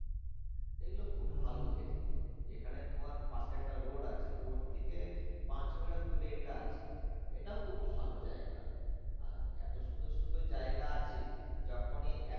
এগুলো খুব ভালো দেখতে এখানে তোমার পাশে একটা road আছে road থেকে পাঁচশ meter দূরে এটা আছে এটাও খুব ভালো জায়গা আর এত সুন্দর সুন্দর জায়গা আছে যখনই এক